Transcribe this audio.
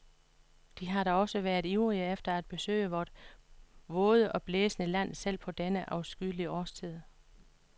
De har da også været ivrige efter at besøge vort våde og blæsende land selv på denne afskyelige årstid.